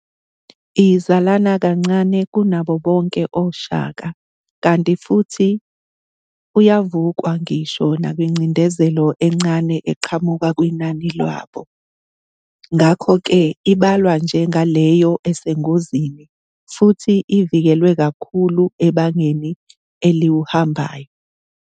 Izalana kancane kunabo bonake oshaka kanti futhi uyavukwa ngisho nakwingcindezelo encane eqhamuka kwinani lwabo, ngakho-ke ibalwa njenga leyo esengozini futhi ivikelwe kakhulu ebangeni eliwuhambayo.